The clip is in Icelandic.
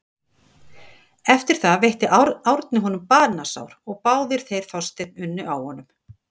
Eftir það veitti Árni honum banasár og báðir þeir Þorsteinn unnu á honum.